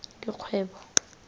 dikgwebo